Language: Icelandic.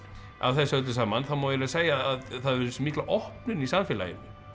af þessu öllu saman má eiginlega segja að það hafi verið þessi mikla opnun í samfélaginu